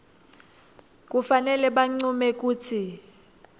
kufanele bancume kutsi